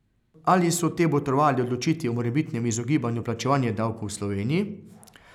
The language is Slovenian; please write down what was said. Ali so te botrovale odločitvi o morebitnem izogibanju plačevanja davkov v Sloveniji?